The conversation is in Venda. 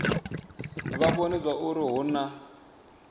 vha vhone zwauri hu na